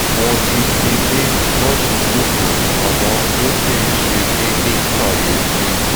mo ti ti ní láti jókòó àmọ́ ó ṣì ń ṣe mí ní kàyéfì